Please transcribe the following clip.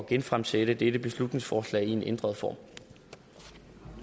genfremsætte dette beslutningsforslag i en ændret form